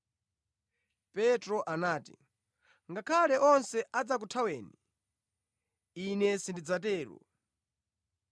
Petro anati, “Ngakhale onse adzakuthaweni, ine sindidzatero.”